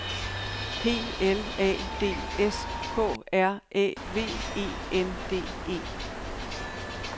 P L A D S K R Æ V E N D E